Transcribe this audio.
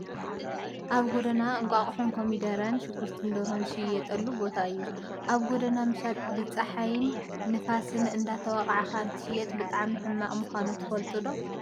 ኣብ ጎደና እንቋቆሖን ኮሚደረን ሽጉርትን ደርሆን ዝሽየጠሉ ቦታ እዩ። ኣብ ጎደና ምሻጥ ብፀሓይን ንፋስን እንዳተወቃዕካ እንትሸጥ ብጣዕሚ ሕማቅ ምኳኑ ትፈልጡ ዶ?